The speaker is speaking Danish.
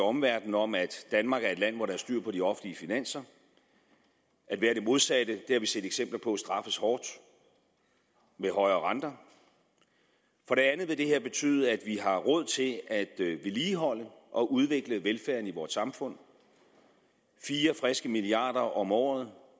omverdenen om at danmark er et land hvor der er styr på de offentlige finanser at være det modsatte det har vi set eksempler på straffes hårdt med højere renter for det andet vil det her betyde at vi har råd til at vedligeholde og udvikle velfærden i vort samfund fire friske milliarder om året